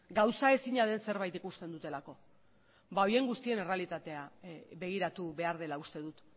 gauzaezina den zerbait ikusten dutelako horien guztien errealitatea begiratu behar dela uste dut